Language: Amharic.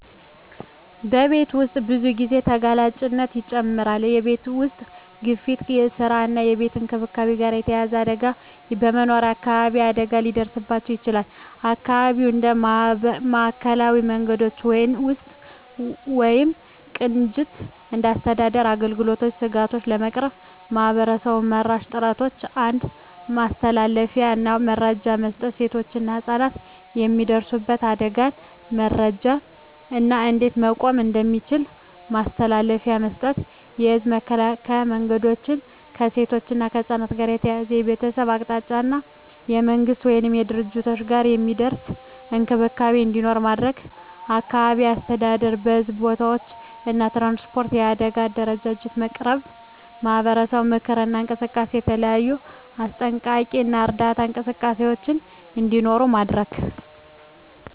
በቤት ውስጥ ብዙ ጊዜ ተጋላጭነት ይጨምራል የቤተሰብ ውስጥ ግፊት ከስራ እና ከቤት እንክብካቤ ጋር የተያያዘ አደጋ በመኖሪያ አካባቢ አደጋ ሊደርስባቸው ይችላል (የአካባቢ እንደ ማዕከላዊ መንገዶች ውስጥ ወይም ቅንጅት እንደ አስተዳደር አገልግሎቶች ስጋቶቹን ለመቅረፍ ማህበረሰብ-መራሽ ጥረቶች 1. ማስተላለፊያ እና መረጃ መስጠት ሴቶችና ህፃናት የሚደርሱበት አደጋን መረጃ እና እንዴት መቆም እንደሚቻል ማስተላለፊያ መስጠት። የህዝብ መከላከያ መንገዶች ከሴቶች እና ከህፃናት ጋር ተያያዘ የቤተሰብ አቅጣጫ እና ከመንግሥት ወይም ከድርጅቶች ጋር የሚደርስ እንክብካቤ እንዲኖር ማድረግ። አካባቢ አስተዳደር በሕዝብ ቦታዎች እና ትራንስፖርት የአደጋ አደረጃጀት ማቅረብ። ማህበረሰብ ምክክር እና እንቅስቃሴ የተለያዩ አስጠንቀቂ እና እርዳታ እንቅስቃሴዎች እንዲኖሩ ማድረግ።